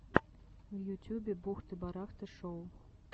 в ютюбе бухты барахты шоу